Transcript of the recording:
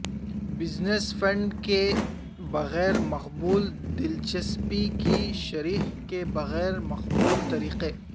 business fund کے بغیر مقبول دلچسپی کی شرح کے بغیر مقبول طریقے